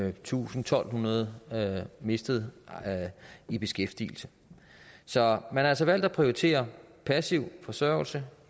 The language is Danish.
en tusind to hundrede mistede i beskæftigelse så man har altså valgt at prioritere passiv forsørgelse og